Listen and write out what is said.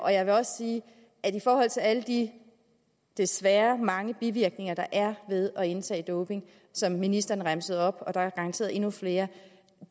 jeg vil også sige at alle de desværre mange bivirkninger der er ved at indtage doping og som ministeren remsede op og der er garanteret endnu flere